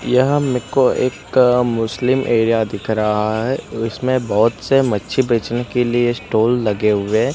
यह हमको एक मुस्लिम एरिया दिख रहा है इसमें बहोत से मच्छी बेचने के लिए स्टॉल लगे हुए हैं।